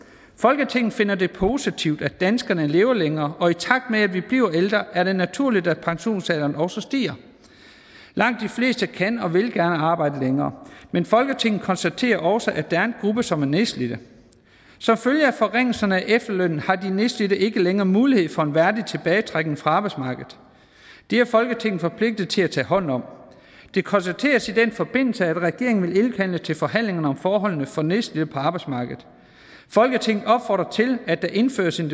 folketinget finder det positivt at danskerne lever længere og i takt med at vi bliver ældre er det naturligt at pensionsalderen også stiger langt de fleste kan og vil gerne arbejde længere men folketinget konstaterer også at der er en gruppe som er nedslidte som følge af forringelserne af efterlønnen har de nedslidte ikke længere mulighed for en værdig tilbagetrækning fra arbejdsmarkedet det er folketinget forpligtet til at tage hånd om det konstateres i den forbindelse at regeringen vil indkalde til forhandlinger om forholdene for nedslidte på arbejdsmarkedet folketinget opfordrer til at der indføres en